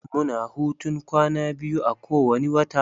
Mu na hutun kwana biyu a kowani wata.